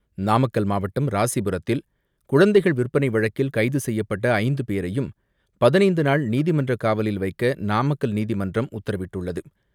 நாமக்கல் மாவட்டம் ராசிபுரத்தில் குழந்தைகள் விற்பனை வழக்கில் கைது செய்யப்பட்ட ஐந்து பேரையும் பதினைந்துநாள் நீதிமன்றக் காவலில் வைக்க நாமக்கல் நீதிமன்றம் உத்தரவிட்டுள்ளது.